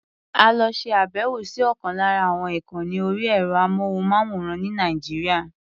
A lọ ṣe àbẹ̀wò sí ọ̀kan lára àwọn ìkànni orí ẹ̀rọ-amóhùnmáwòrán ní Nàìjíríà.